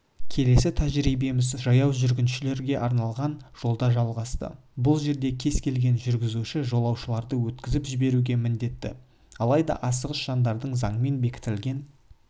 келесі тәжірибеміз жаяу жүргіншілерге арналған жолда жалғасты бұл жерде кез келген жүргізуші жолаушыларды өткізіп жіберуге міндетті алайда асығыс жандардың заңмен бекітілген